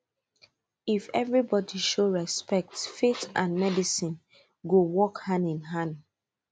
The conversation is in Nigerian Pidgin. if everybody show respect faith and medicine go work hand in hand